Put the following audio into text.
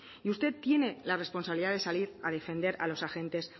y usted tiene la responsabilidad de salir a defender a los agentes